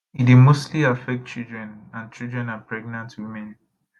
e dey mostly affect children and children and pregnant women